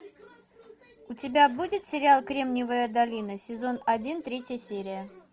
у тебя будет сериал кремниевая долина сезон один третья серия